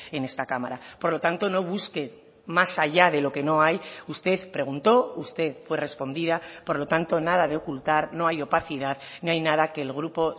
en esta cámara por lo tanto no busque más allá de lo que no hay usted preguntó usted fue respondida por lo tanto nada de ocultar no hay opacidad no hay nada que el grupo